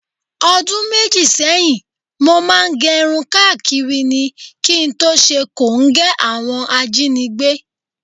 O̩dún méjì sé̩yìn, mo máa ń ge̩run káàkiri ni, kí n tó s̩e kòńgé̩ àwo̩n ajínigbé